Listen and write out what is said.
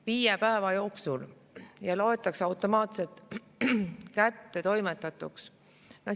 Viie päeva jooksul ja loetakse automaatselt kättetoimetatuks.